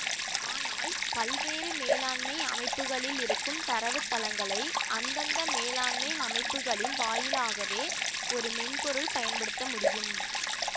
ஆனால் பல்வேறு மேலாண்மை அமைப்புகளில் இருக்கும் தரவுத்தளங்களை அந்தந்த மேலாண்மை அமைப்புகளின் வாயிலாகவே ஒரு மென்பொருள் பயன்படுத்த முடியும்